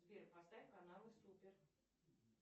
сбер поставь каналы супер